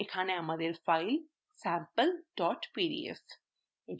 এখানে আমাদের file sample pdf